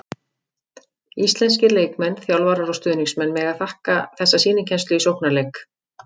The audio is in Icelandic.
Íslenskir leikmenn, þjálfarar og stuðningsmenn mega þakka þessa sýnikennslu í sóknarleik.